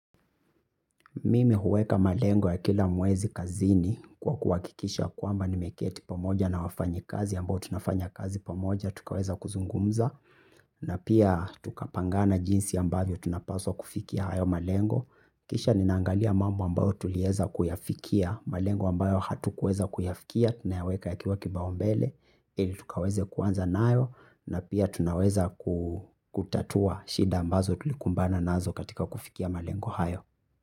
Mimi huweka malengo ya kila mwezi kazini kwa kuhakikisha kwamba nimeketi pamoja na wafanyikazi ambao tunafanya kazi pamoja tukaweza kuzungumza. Na pia tukapangana jinsi ambavyo tunapaswa kufikia hayo malengo. Kisha nina angalia mambo ambayo tulieza kuyafikia malengo ambayo hatukueza kuyafikia, tunayaweka yakiwa kipao mbele. Ili tukaweze kuanza nayo na pia tunaweza kutatua shida ambazo tulikumbana nazo katika kufikia malengo hayo.